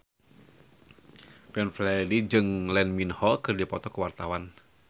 Glenn Fredly jeung Lee Min Ho keur dipoto ku wartawan